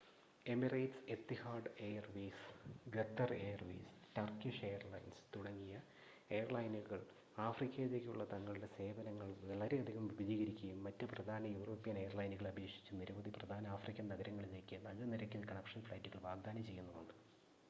Emirates Etihad Airways Qatar Airways Turkish Airlines തുടങ്ങിയ എയർലൈനുകൾ ആഫ്രിക്കയിലേക്കുള്ള തങ്ങളുടെ സേവനങ്ങൾ വളരെയധികം വിപുലീകരിക്കുകയും മറ്റ് പ്രധാന യൂറോപ്യൻ എയർലൈനുകളെ അപേക്ഷിച്ച് നിരവധി പ്രധാന ആഫ്രിക്കൻ നഗരങ്ങളിലേക്ക് നല്ല നിരക്കിൽ കണക്ഷൻ ഫ്ലൈറ്റുകൾ വാഗ്‌ദാനം ചെയ്യുന്നുമുണ്ട്